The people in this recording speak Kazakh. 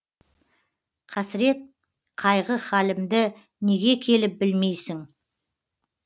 қасірет қайғы халімді неге келіп білмейсің